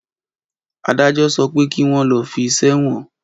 Adájọ́ sọ pé kí wọn lọ fí sí èwọn!